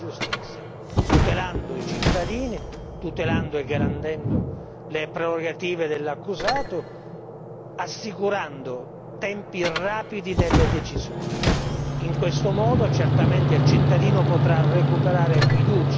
Abbiamo bisogno di una struttura agile e snella che dia efficienza alla giustizia, tutelando i cittadini, tutelando e garantendo le prerogative dell'accusato, assicurando tempi rapidi nelle decisioni.